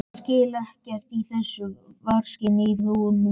Ég skil bara ekkert í þessum vargagangi í honum Fúsa